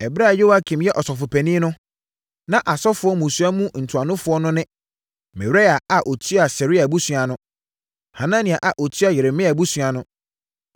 Ɛberɛ a Yoiakim yɛ ɔsɔfopanin no, na asɔfoɔ mmusua mu ntuanofoɔ no ne: Meraia a ɔtua Seraia abusua ano. Hanania a ɔtua Yeremia abusua ano.